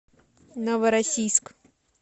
новороссийск